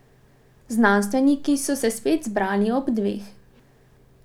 Znanstveniki so se spet zbrali ob dveh.